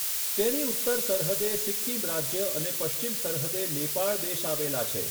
તેની ઉત્તર સરહદે સિક્કિમ રાજ્ય અને પશ્ચિમ સરહદે નેપાળ દેશ આવેલા છે.